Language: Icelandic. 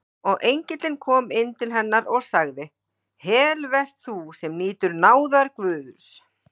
Og engillinn kom inn til hennar og sagði: Heil vert þú, sem nýtur náðar Guðs!